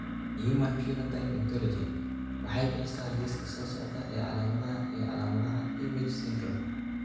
The Human Phenotype Ontology waxay bixisaa liiska soo socda ee calaamadaha iyo calaamadaha IMAGE syndrome.